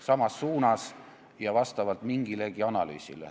Parandab vastavalt mingilegi analüüsile.